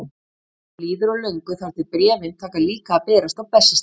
Ekki líður á löngu þar til bréfin taka líka að berast á Bessastaði.